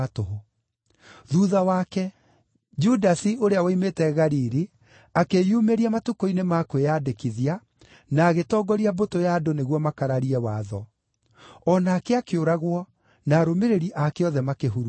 Thuutha wake, Judasi ũrĩa woimĩte Galili akĩĩyumĩria matukũ-inĩ ma kwĩyandĩkithia na agĩtongoria mbũtũ ya andũ nĩguo makararie watho. O nake akĩũragwo, na arũmĩrĩri aake othe makĩhurunjwo.